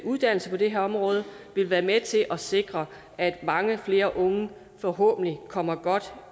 uddannelse på det her område vil være med til at sikre at mange flere unge forhåbentlig kommer godt